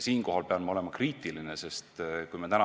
Siinkohal pean ma aga olema kriitiline.